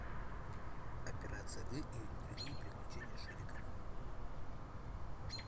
операция ы или другие приключения шурика